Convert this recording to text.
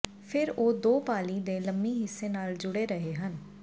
ਫਿਰ ਉਹ ਦੋ ਪਾਲੀ ਦੇ ਲੰਮੀ ਹਿੱਸੇ ਨਾਲ ਜੁੜੇ ਰਹੇ ਹਨ